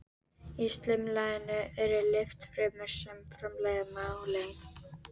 Í slímlaginu eru litfrumur sem framleiða melanín.